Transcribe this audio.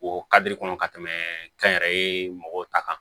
O kadiri kɔnɔ ka tɛmɛ kɛnyɛrɛye mɔgɔw ta kan